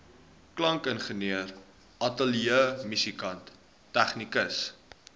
klankingenieur ateljeemusikant tegnikus